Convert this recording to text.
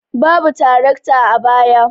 Babu tarakta a baya.